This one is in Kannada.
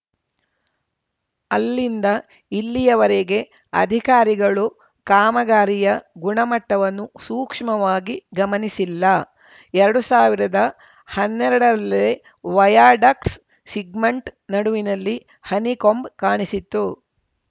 ಅಲ್ಲಿಂದ ಇಲ್ಲಿಯವರೆಗೆ ಅಧಿಕಾರಿಗಳು ಕಾಮಗಾರಿಯ ಗುಣಮಟ್ಟವನ್ನು ಸೂಕ್ಷ್ಮವಾಗಿ ಗಮನಿಸಿಲ್ಲ ಎರಡು ಸಾವಿರದ ಹನ್ನೆರಡರಲ್ಲೇ ವಯಾಡಕ್ಟ್ಸ್ ಸಿಗ್ಮೆಂಟ್‌ ನಡುವಿನಲ್ಲಿ ಹನಿಕೊಂಬ್‌ ಕಾಣಿಸಿತ್ತು